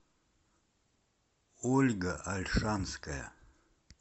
ольга ольшанская